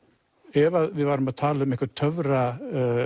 ef að við værum að tala um eitthvað